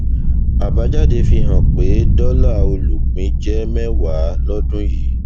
àbájáde fi hàn pé dọlà olùpín jẹ mẹwàá lódún yìí